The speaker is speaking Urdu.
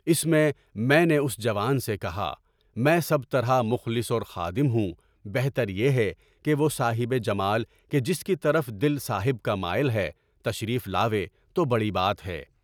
اِس میں میں نے اُس جوان سے کہا، میں سب طرح مخلص اور خادم ہوں۔ بہتر یہی ہے کہ وہ صاحبِ جمال، جس کی طرف دلِ صاحب کا مائل ہے، تشریف لاوے تو بڑی بات ہے۔